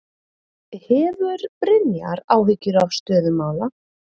Hefur Brynjar áhyggjur af stöðu mála?